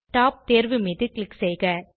top தேர்வு மீது click செய்க